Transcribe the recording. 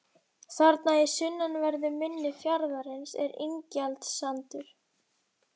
Þarna í sunnanverðu mynni fjarðarins er Ingjaldssandur.